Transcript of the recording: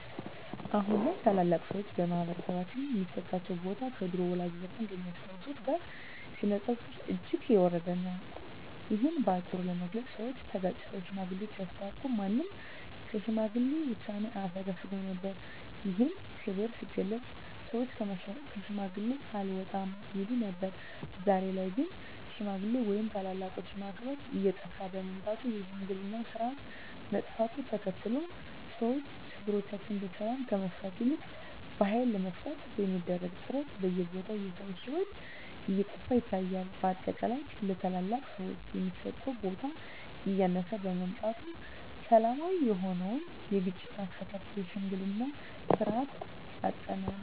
አሁን ላይ ታላላቅ ሰዎች በማህበረሰባችን ሚሰጣቸው ቦታ ከድሮው ወላጆቻችን ከሚያስታውሱት ጋር ሲነጻጸር እጅግ የወረደ ነው። እሂን በአጭሩ ለመግለጽ ሰወች ተጋጭተው ሽማግሌወች ሲያስታርቁ ማንም ከሽማግሌ ውሳኔ አያፈገፍግም ነበር። ይህም ክብር ሲገለጽ ሰወች ከሽማግሌ አልወጣም ይሉ ነበር። ዛሬ ላይ ግን ሽማግሌ ወይም ታላላቆችን ማክበር እየጠፋ በመምጣቱ የሽምግልናው ስርአት መጥፋቱን ተከትሎ ሰወች ችግሮቻቸውን በሰላም ከመፍታት ይልቅ በሀይል ለመፍታት በሚደረግ ጥረት በየቦታው የሰው ሂወት እየጠፋ ይታያል። በአጠቃላይ ለታላላቅ ሰወች የሚሰጠው ቦታ እያነሰ በመምጣቱ ሰላማዊ የሆነውን የግጭት አፈታት የሽምግልናን ስርአት አጠናል።